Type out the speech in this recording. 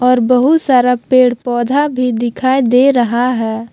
और बहुत सारा पेड़ पौधा भी दिखाई दे रहा है।